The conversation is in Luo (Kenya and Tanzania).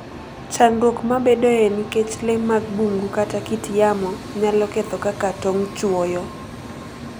Chandruok mabedoe nikech le mag bungu kata kit yamo, nyalo ketho kaka tong' chwoyo